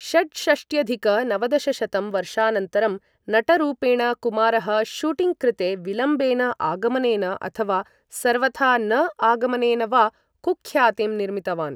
षट्षष्ट्यधिक नवदशशतं वर्षानन्तरं, नटरूपेण कुमारः शूटिङ्ग् कृते विलम्बेन आगमनेन अथवा सर्वथा न आगमनेन वा कुख्यातिं निर्मितवान्।